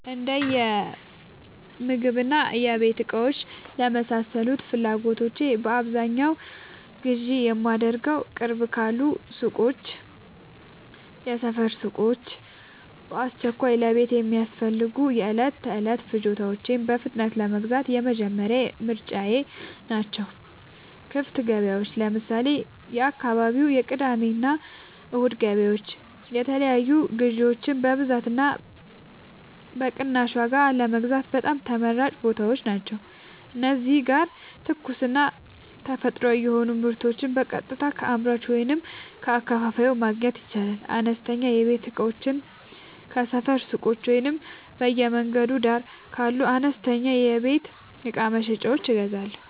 የእንደምግብና የቤት እቃዎች ለመሳሰሉት ፍላጎቶቼ በአብዛኛው ግዢ የማደርገዉ፦ ቅርብ ካሉ ሱቆች (የሰፈር ሱቆች)፦ በአስቸኳይ ለቤት የሚያስፈልጉ የዕለት ተዕለት ፍጆታዎችን በፍጥነት ለመግዛት የመጀመሪያ ምርጫየ ናቸው። ክፍት ገበያዎች (ለምሳሌ፦ የአካባቢው የቅዳሜና እሁድ ገበያዎች) የተለያዩ ግዥዎችን በብዛትና በቅናሽ ዋጋ ለመግዛት በጣም ተመራጭ ቦታዎች ናቸው። እዚህ ጋር ትኩስና ተፈጥሯዊ የሆኑ ምርቶችን በቀጥታ ከአምራቹ ወይም ከአከፋፋዩ ማግኘት ይቻላል። አነስተኛ የቤት እቃዎችን ከሰፈር ሱቆች ወይም በየመንገዱ ዳር ካሉ አነስተኛ የቤት እቃ መሸጫዎች እገዛለሁ።